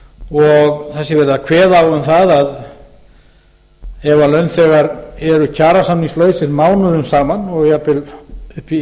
og það sé verið að kveða á um það að ef launþegar eru kjarasamningslausir mánuðum saman og jafnvel upp í